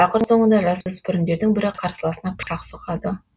ақыр соңында жасөспірімдердің бірі қарсыласына пышақ сұғады